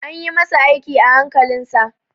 An ƴi masa aiki a hankalin sa.